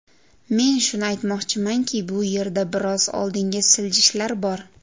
Men shuni aytmoqchimanki, bu yerda biroz oldinga siljishlar bor.